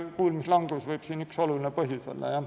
Kuulmislangus võib olla üks olulisi põhjusi.